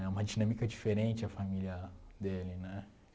É uma dinâmica diferente a família dele, né?